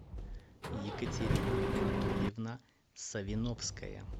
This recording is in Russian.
екатерина анатольевна савиновская